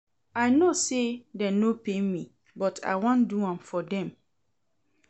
I know say dem no pay me but I wan do am for dem